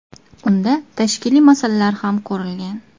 Unda tashkiliy masalalar ham ko‘rilgan.